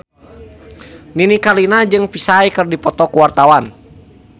Nini Carlina jeung Psy keur dipoto ku wartawan